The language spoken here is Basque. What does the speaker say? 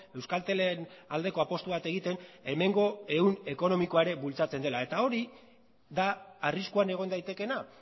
euskaltelen aldeko apustu bat egiten hemengo ehun ekonomikoa ere bultzatzen dela eta hori da arriskuan egon daitekeena